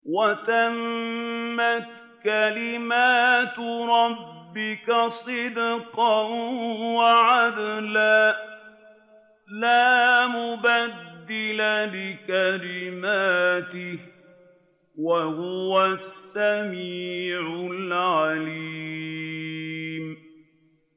وَتَمَّتْ كَلِمَتُ رَبِّكَ صِدْقًا وَعَدْلًا ۚ لَّا مُبَدِّلَ لِكَلِمَاتِهِ ۚ وَهُوَ السَّمِيعُ الْعَلِيمُ